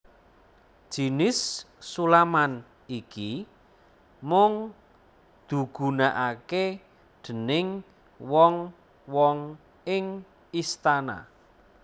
Jinis sulaman iki mung dugunakake déning wong wong ing istana